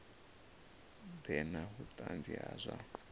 ḓe na vhuṱanzi ha zwa